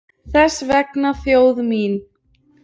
Þess vegna þjóð mín!